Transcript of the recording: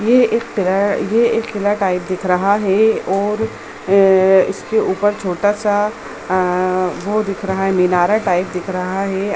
ये एक किला ये एक किला टाइप दिख रहा है और अ इसके ऊपर छोटा-सा वो दिख रहा है मीनारे टाइप दिख रहा है।